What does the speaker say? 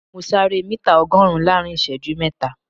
Mo sáré mítà ọgọ́rùn-ún láàrin ìṣẹ́jú mẹ́ta